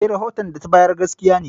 Eh, rahoton da ta bayar gaskiya ne.